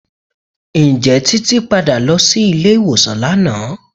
Ǹjẹ́ Títí padà lọ sí ilé ìwòsàn lánàá?